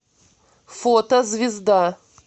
фото звезда